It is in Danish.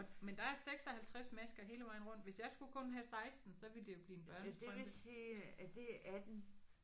Men der er 56 masker hele vejen rundt. Hvis jeg skulle kun have 16 så ville det jo blive en børnestrømpe